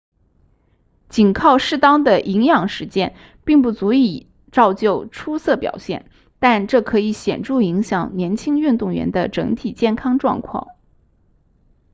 仅靠适当的营养实践并不足以造就出色表现但这可以显著影响年轻运动员的整体健康状况